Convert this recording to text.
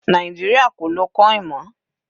Nàìjíríà kò lọ coin mọ́.